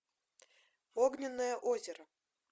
огненное озеро